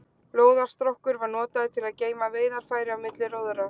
Lóðarstokkur var notaður til að geyma veiðarfæri á milli róðra.